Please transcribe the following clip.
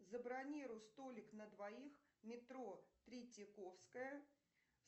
забронируй столик на двоих метро третьяковская